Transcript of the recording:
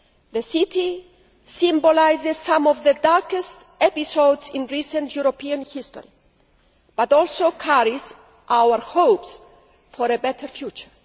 The city symbolises some of the darkest episodes in recent European history but also carries our hopes for a better future.